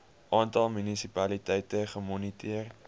aantal munisipaliteite gemoniteer